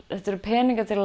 þetta eru peningar til